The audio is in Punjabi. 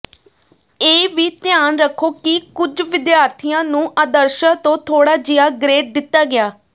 ਇਹ ਵੀ ਧਿਆਨ ਰੱਖੋ ਕਿ ਕੁੱਝ ਵਿਦਿਆਰਥੀਆਂ ਨੂੰ ਆਦਰਸ਼ਾਂ ਤੋਂ ਥੋੜ੍ਹਾ ਜਿਹਾ ਗ੍ਰੇਡ ਦਿੱਤਾ ਗਿਆ